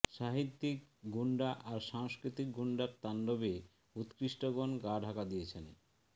সাহিত্যিক গুণ্ডা আর সাংস্কৃতিক গুণ্ডার তাণ্ডবে উৎকৃষ্টগণ গা ঢাকা দিয়েছেন